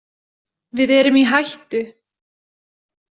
Við erum í hættu!